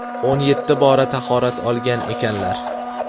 o‘n yetti bora tahorat olgan ekanlar.